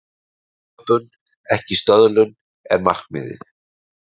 Sköpun, ekki stöðlun, er markmiðið.